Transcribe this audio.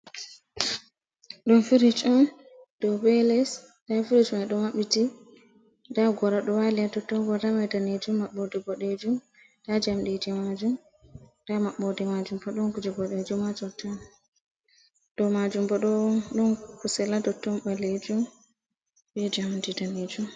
Ɗum firij on ɗau be les. Ɗen firijma ɗo mabbiti. Nda gora ɗo wali ha totton goraman daneejum mabboɗe boɗeejum. Nda jamɗeji majum, nɗa mabborɗi majum bo ɗon kuje boɗeejum ha totton. Ɗau majum bo ɗon kusel aɗottom balejum be jamɗI daneejum.